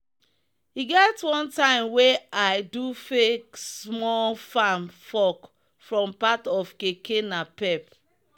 e get one time wey i do fake small farm fork from part of keke napep.